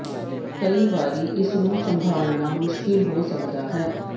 ਕਈ ਵਾਰੀ ਇਸ ਨੂੰ ਸੰਭਾਲਣਾ ਮੁਸ਼ਕਲ ਹੋ ਸਕਦਾ ਹੈ